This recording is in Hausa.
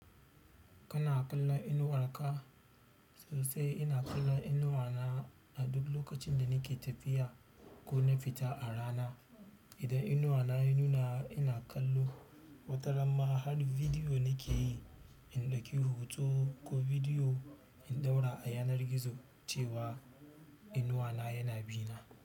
Kana kalla inuwar ka sosai. Ina kallon inuwa na a duk lokacin da nake tafiya ko na fita a rana. Idan inuwa na ya nuna ina kallo, wataram ma har bidiyo nake yi, in ɗauki hutu ko bidiyo in ɗaura a yanar gizo cewa inuwa na yana bina.